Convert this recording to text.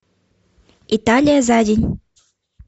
италия за день